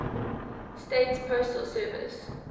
states postal service